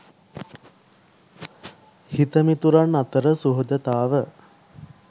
හිතමිතුරන් අතර සුහදතාව